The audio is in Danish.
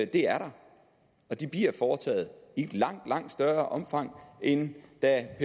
der og de bliver foretaget i langt langt større omfang end da